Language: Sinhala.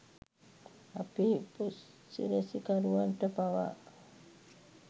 අපේ උපසිරැසිකරුවන්ට පවා